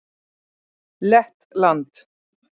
Lettland